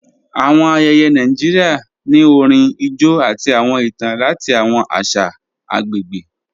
Awọn ayéyé Nàìjíríà ni orín, ijó, àti awọn ìtàn lati awọn àṣà agbegbe